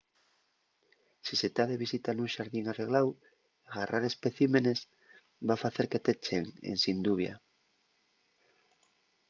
si se ta de visita nun xardín arregláu garrar especímenes” va facer que t’echen ensin dubia